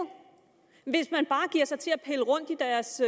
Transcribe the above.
hvis man bare giver sig til at pille rundt i deres